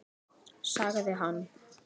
Sagði hann.